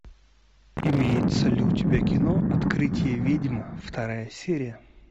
имеется ли у тебя кино открытие ведьм вторая серия